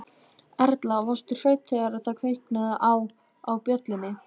Erla: Varstu hrædd þegar það kviknaði á, á bjöllunni?